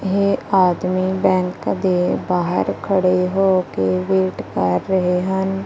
ਇਹ ਆਦਮੀ ਬੈਂਕ ਦੇ ਬਾਹਰ ਖੜੇ ਹੋ ਕੇ ਵੇਟ ਕਰ ਰਹੇ ਹਨ।